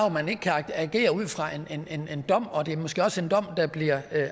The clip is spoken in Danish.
man ikke kan agere ud fra en dom og det er måske også en dom der bliver